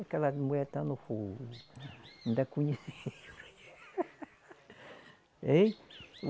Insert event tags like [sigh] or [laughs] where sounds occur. Aquela mulher tá no, [unintelligible] ainda conheci. [laughs] Ein